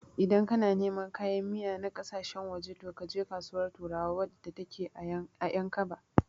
Idan kana neman kayan miya na ƙasashen waje, to kaje Kasuwar turawa wadda take a Ƴankaba.